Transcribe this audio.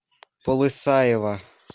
полысаево